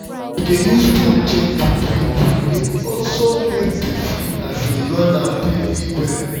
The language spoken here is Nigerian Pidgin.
to dey use phone check food wey good dey also help person um run am very well